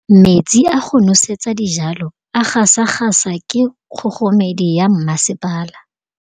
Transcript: Metsi a go nosetsa dijalo a gasa gasa ke kgogomedi ya masepala.